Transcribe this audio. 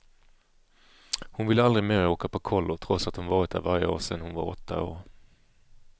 Hon vill aldrig mer åka på kollo, trots att hon varit där varje år sedan hon var åtta år.